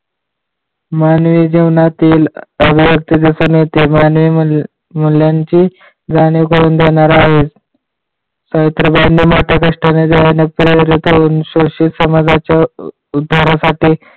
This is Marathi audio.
मानवी जीवनातील अभिव्यक्ती असणे ते जाणीव मूल्यांची जाणीव करून देणार आहे. सावित्रीबाईंनी मोठ्या कष्टाने जनहित करून शोषित समाजाच्या उद्धारासाठी